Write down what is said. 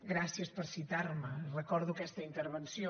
gràcies per citar me recordo aquesta intervenció